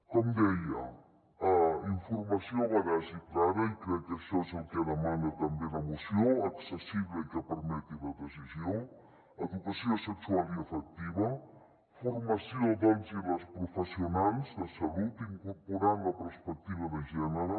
com deia informació veraç i clara i crec que això és el que demana també la moció accessible i que permeti la decisió educació sexual i afectiva formació dels i les professionals de salut incorporant la perspectiva de gènere